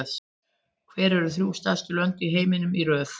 Hver eru þrjú stærstu lönd í heiminum í röð?